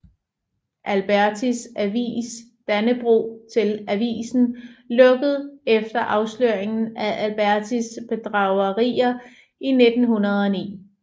Albertis avis Dannebrog til avisen lukkede efter afsløringen af Albertis bedragerier i 1909